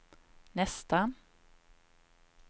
nästan